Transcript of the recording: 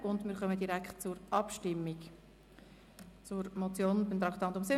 Somit kommen wir direkt zur Abstimmung über die Motion «